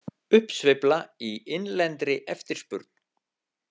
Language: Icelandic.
Uppsveifla í innlendri eftirspurn.